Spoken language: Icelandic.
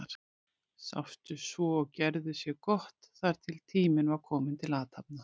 Sátu svo og gerðu sér gott þar til tími var kominn til athafna.